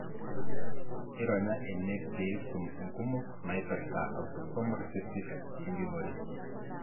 ironyaa ene pisum inkumok naipirta autosomal recessive enjungore.